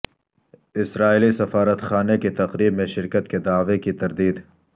اسرائیلی سفارتخانے کی تقریب میں شرکت کے دعوے کی تردید